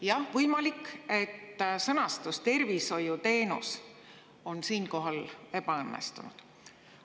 Jah, võimalik, et sõnastus "tervishoiuteenus" on siinkohal ebaõnnestunud.